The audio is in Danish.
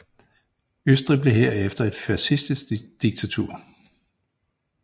Østrig blev herefter et fascistisk diktatur